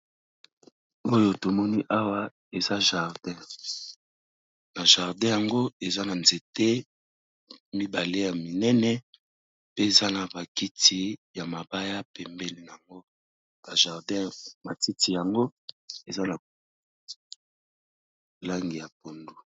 Oyo tomoni awa eza jardin, na jardin yango eza na nzete mibale ya minene pe eza na ba kiti ya mabaya pembeni nango, ba jardin matiti nango eza na langi ya pondu.